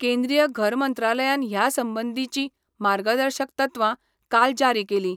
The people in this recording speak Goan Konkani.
केंद्रिय घरमंत्रालयान ह्या संबंधिची मार्गदर्शक तत्वां काल जारी केली.